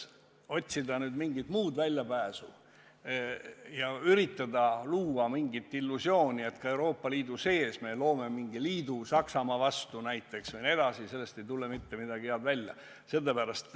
Otsida mingit muud väljapääsu ja üritada luua mingit illusiooni, et me Euroopa Liidu sees loome mingi liidu Saksamaa vastu näiteks – sellest ei tule mitte midagi head välja.